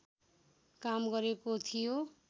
काम गरेको थियो